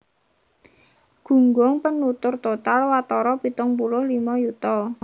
Gunggung penutur total watara pitung puluh limo yuta